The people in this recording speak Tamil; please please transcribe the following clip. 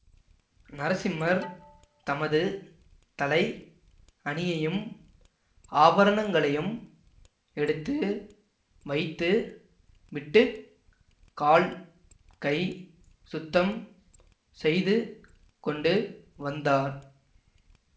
நரசிம்மர் தமது தலை அணியையும் ஆபரணங்களையும் எடுத்து வைத்து விட்டு கால் கை சுத்தம் செய்து கொண்டு வந்தார்